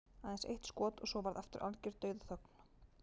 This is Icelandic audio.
Aðeins eitt skot og svo varð aftur algjör dauðaþögn.